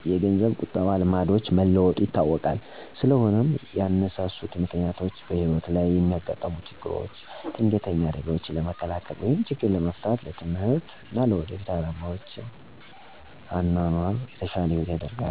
የገንዘብ ቁጠበ ልማዶች መለወጡ ይታወቃል ስለሆነም ያነሳሱት ምክንያቶችም በህይወት ለይ የሚያጋጥሙ ችግሮች ድንገተኛ አደጋዎችን ለመከላከል ወይም ችግር ለመፍታት፣ ለትምህርት እና ለወደፊት አላማዎች፣ ለወደፊት ለሚያጋጥሙ ችግሮች ለይ ችግር ለመፍታት፣ የተሸለ አኗኗር ለመኖር ነው